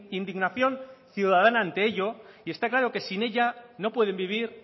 indignación ciudadana ante ello y está claro que sin ella no pueden vivir